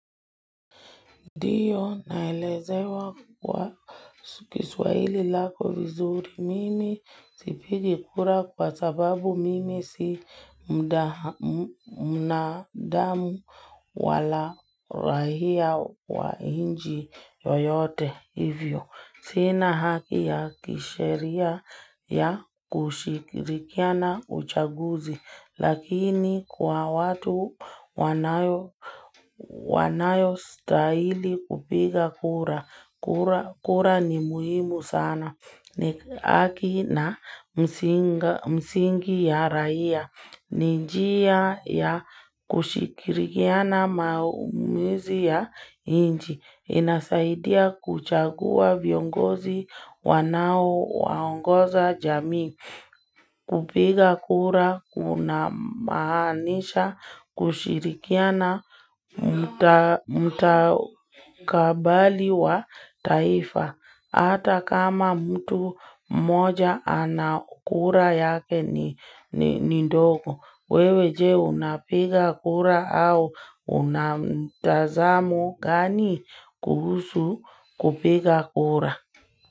Diyo naelezewa kwa kiswaili lako vizuri mimi sipigi kura kwa sababu mimi si mnadamu wala rahia wa inji yoyote hivyo. Sina haki ya kisheria ya kushikirikiana uchaguzi, lakini kwa watu wanayo stahili kupiga kura ni muhimu sana. Aki na msingi ya raia. Ni njia ya kushikirikiana maumizi ya inji. Inasaidia kuchagua viongozi wanao waongoza jamii. Kupiga kura, kuna maanisha, kushirikiana, mutakabali wa taifa. Hata kama mtu moja anakura yake ni ndoko. Wewe je unapiga kura au una mtazamo gani kuhusu kupiga kura.